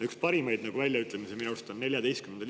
Üks parimaid väljaütlemisi minu arust oli teil.